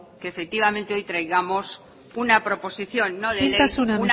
que efectivamente hoy traigamos una proposición no de ley isiltasuna